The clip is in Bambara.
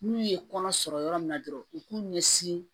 N'u ye kɔnɔ sɔrɔ yɔrɔ min na dɔrɔn u k'u ɲɛsin